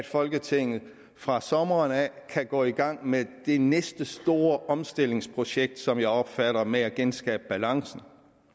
folketinget fra sommeren af kan gå i gang med det næste store omstillingsprojekt som jeg opfatter det med at genskabe balancen